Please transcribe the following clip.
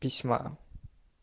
письма